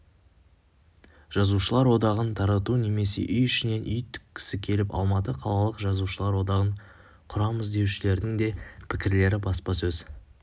жазушылар одағын тарату немесе үй ішінен үй тіккісі келіп алматы қалалық жазулар одағын құрамыз деушілердің де пікірлері баспасөз